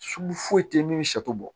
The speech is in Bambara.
Sugu foyi tɛ min bɛ sɛ bɔ